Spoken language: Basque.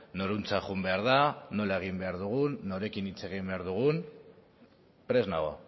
norantza joan behar den nola egin behar dugun norekin hitz egin behar dugun prest nago